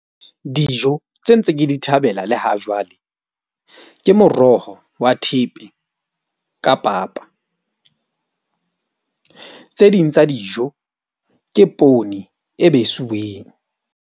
Dijo tse ntse ke di thabela le ha jwale ke moroho wa thepe ka papa. Tse ding tsa dijo ke poone e besiweng.